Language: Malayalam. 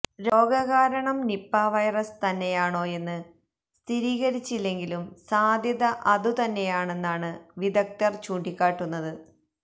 രോഗകാരണം നിപാ വൈറസ് തന്നെയാണോയെന്ന് സ്ഥിരീകരിച്ചില്ലെങ്കിലും സാധ്യത അതു തന്നെയാണെന്നാണ് വിദഗ്ധര് ചൂണ്ടിക്കാട്ടുന്നത്